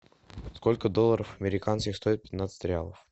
сколько долларов американских стоит пятнадцать реалов